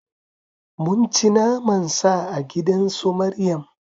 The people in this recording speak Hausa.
Mun ci naman Sa a gidan su Maryam